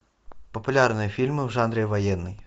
популярные фильмы в жанре военный